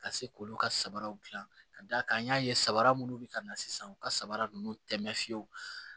Ka se k'olu ka samaraw dilan ka d'a kan an y'a ye sabara munnu bɛ ka na sisan u ka samara ninnu tɛ mɛ fiyewu